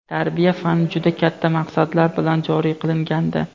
"Tarbiya" fani juda katta maqsadlar bilan joriy qilingandi.